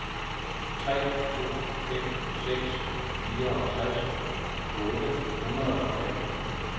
tre to fem seks fireogtres otte hundrede og femten